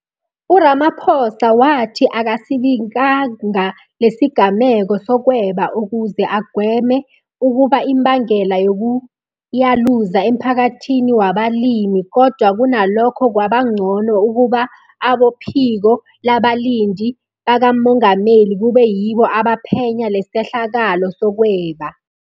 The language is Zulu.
URamaposa wathi akasibikanga lesigameko sokweba ukuze agweme ukuba imbangela yokuyaluza emphakathini wabalimi kodwa kunalokho kwaba ngcono ukuba abophiko labalindi bakamongameli kube yibo abaphenya lesehlakalo sokweba.